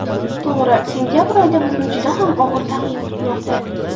To‘g‘ri, sentabr oyida bizni juda ham og‘ir taqvim kutmoqda.